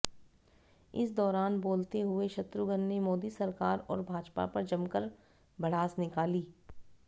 इस दौरान बोलते हुए शत्रुघन ने मोदी सरकार और भाजपा पर जमकर भड़ास निकाली